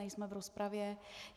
Nejsme v rozpravě.